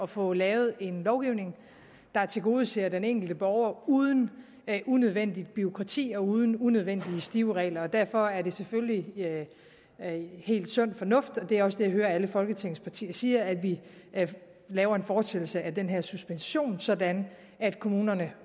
få lavet en lovgivning der tilgodeser den enkelte borger uden unødvendigt bureaukrati og uden unødvendige stive regler derfor er det selvfølgelig sund fornuft og det er også det jeg hører alle folketingets partier sige at vi skal lave en fortsættelse af den her suspension sådan at kommunerne